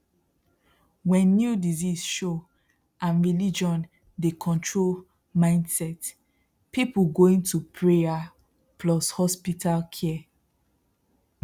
when new sickness show and religion the control mindset people going to prayer plus hospital care